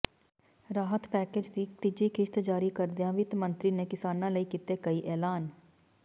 ਰਾਹਤ package ਦੀ ਤੀਜੀ ਕਿਸ਼ਤ ਜਾਰੀ ਕਰਦਿਆਂ ਵਿੱਤ ਮੰਤਰੀ ਨੇ ਕਿਸਾਨਾ ਲਈ ਕੀਤੇ ਕਈ ਐਲਾਨ